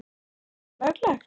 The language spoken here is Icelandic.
Er þetta löglegt??!!